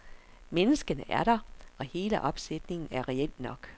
Menneskene er der og hele opsætningen er reel nok.